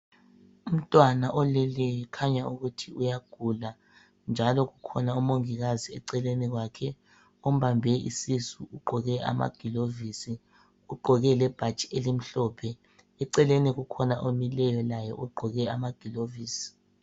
Umntwana oleleyo kukhanya ukuthi uyagula, njalo kukhona umongikazi eceleni kwakhe ombambe isisu. Ugqoke amagilovisi ugqoke lebhatshi elimhlophe. Eceleni kukhona omileyo laye ugqoke amagilovisi.